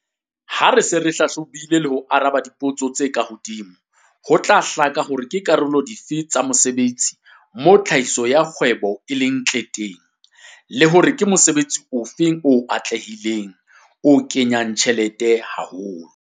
Ha re se re hlahlobile le ho araba dipotso tse ka hodimo ho tla hlaka hore ke karolong dife tsa mosebetsi moo tlhahiso ya kgwebo e leng ntle teng, le hore ke mosebetsi ofe o atlehileng, o kenyang tjhelete haholo.